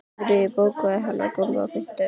Ingiríður, bókaðu hring í golf á fimmtudaginn.